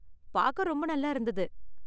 பார்க்க ரொம்ப நல்லா இருந்தது.